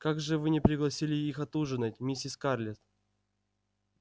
как же вы не пригласили их отужинать миссис скарлетт